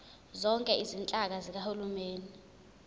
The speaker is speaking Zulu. zonke izinhlaka zikahulumeni